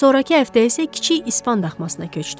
Sonrakı həftə isə kiçik İspan daxmasına köçdü.